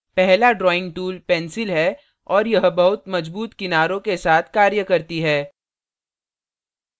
पहला drawing tool pencil है और यह बहुत मजबूत किनारों के साथ कार्य करती है